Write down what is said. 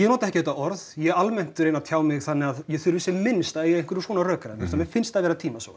nota ekki þetta orð ég almennt reyni að tjá mig þannig að ég þurfi sem minnst að eiga í einhverjum svona rökræðum því mér finnst það vera tímasóun